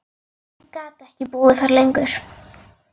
Ég gat ekki búið þar lengur.